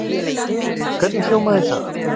Hvernig hljómaði það?